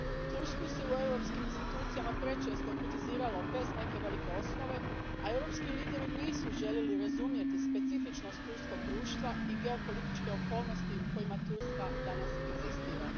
Tursku se u europskim institucijama prečesto kritiziralo bez neke velike osnove, a europski lideri nisu željeli razumjeti specifičnost turskog društva i geopolitičke okolnosti u kojima Turska danas egzistira.